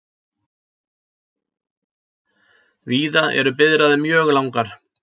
Víða eru biðraðir mjög langar